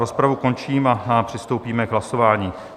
Rozpravu končím a přistoupíme k hlasování.